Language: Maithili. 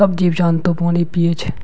सब जीव जंतु पानी पिए छै।